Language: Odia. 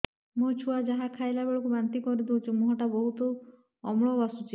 ମୋ ଛୁଆ ଯାହା ଖାଇଲା ବେଳକୁ ବାନ୍ତି କରିଦଉଛି ମୁହଁ ଟା ବହୁତ ଅମ୍ଳ ବାସୁଛି